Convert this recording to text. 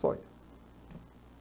Só